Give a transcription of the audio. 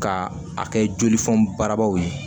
Ka a kɛ jolifɔn barabaw ye